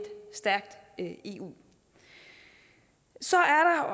stærkt eu så er